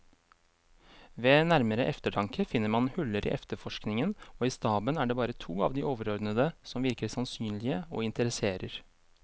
Ved nærmere eftertanke finner man huller i efterforskningen, og i staben er det bare to av de overordnede som virker sannsynlige og interesserer.